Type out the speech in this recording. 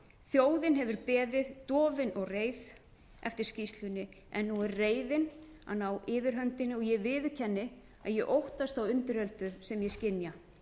þjóðin hefur beðið dofin og reið eftir skýrslunni en nú er reiðin að ná yfirhöndinni og ég viðurkenni að ég óttast þá undiröldu sem ég skynja